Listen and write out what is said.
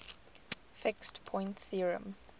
fixed point theorem